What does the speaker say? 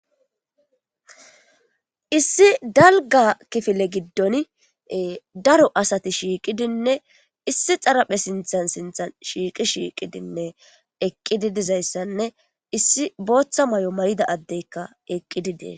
Issi dalgga kifile giddoni daro asathi shiiqidenne issi xaraphe sinththan sinththan shiiqidi shiiqidinne eqqidi dizayssanne issi booththa maayo mayida addeekka eqqidi de7ees.